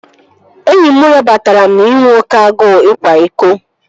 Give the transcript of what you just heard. Enyi m rabatara m na inwe oké agụụ ịkwa iko